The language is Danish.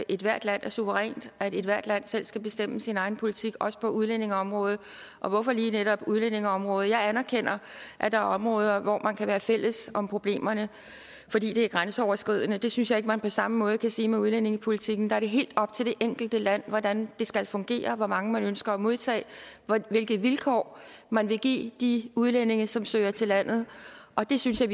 ethvert land er suverænt at ethvert land selv skal bestemme sin egen politik også på udlændingeområdet og hvorfor lige netop udlændingeområdet jeg anerkender at der er områder hvor man kan være fælles om problemerne fordi de er grænseoverskridende men det synes jeg ikke man på samme måde kan sige med udlændingepolitikken der er det helt op til det enkelte land hvordan det skal fungere hvor mange man ønsker at modtage hvilke vilkår man vil give de udlændinge som søger til landet og det synes jeg